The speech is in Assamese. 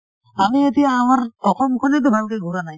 আমি এতিয়া আমাৰ অসম খনে টো ভালকে ঘূৰা নাই